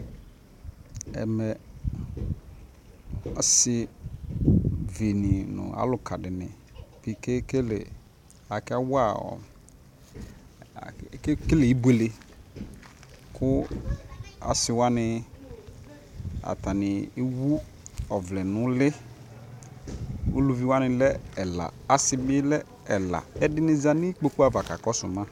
Ɛmɛ asivi nʋ alʋka di ni kʋ ekekele akawa ɔ akekele ibuelekʋ asiwani atani ewu ɔvlɛ nʋ uli Ulʋviwa lɛ ɛla asi bi lɛ ɛla Ɛdi ni za nʋ ikpoku ava kakɔsu ma